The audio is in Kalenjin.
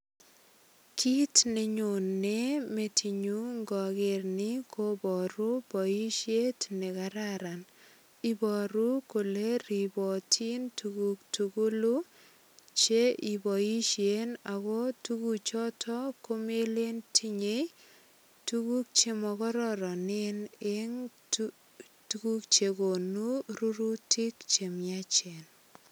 Kit nenyone metinyun ngoker ni koboru boisiet nekararan. Ibaru kole ribotin tuguk tugulu che iboisien ago tuguchoto komelen tinyei tuguk chemokororonen eng tuguk che konu rurutik che miachen.